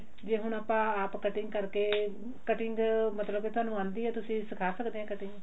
ਜੇ ਹੁਣ ਆਪਾਂ ਆਪ cutting ਕਰਕੇ cutting ਮਤਲਬ ਤੁਹਾਨੂੰ ਆਉਂਦੀ ਆ ਤੁਸੀਂ ਸਿਖਾ ਸਕਦੇ ਓ cutting